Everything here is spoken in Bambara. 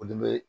Olu be